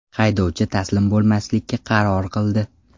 Haydovchi taslim bo‘lmaslikka qaror qildi.